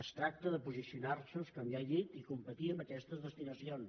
es tracta de posicionar se com ja he dit i competir amb aquestes destinacions